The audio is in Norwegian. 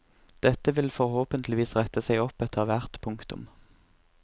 Dette vil forhåpentligvis rette seg opp etter hvert. punktum